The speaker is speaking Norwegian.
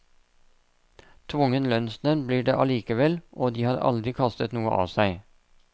Tvungen lønnsnevnd blir det allikevel, og de har aldri kastet noe av seg.